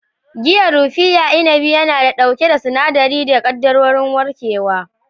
Giyan raffia inabi yana da duka sinadirai da kaddarorin warkewa.